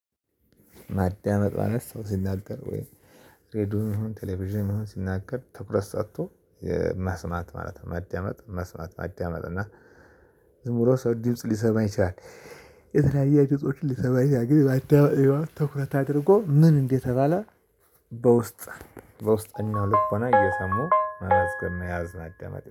ማዳመጥ ማለት ሰው ሲናገር ወይ ሬድዮም ይሁን ቴሌቪዥን ይሁን ሲናገር ትኩረት ሰጥቶ መስማት ማለት ነው። ማዳመጥ መስማት ማዳመጥ እና ዝም ብሎ ሰው ድምጽ ሊሰማ ይችላል። ድምፆችን ሊሰማ ይችላል ግን ማዳመጥ ማለት ትኩረት አድርጎ ምን እንደተባለ በውስጥ በውስጥ እና ልቦና እየሰሙ መመስገን መያዝ ማዳመጥ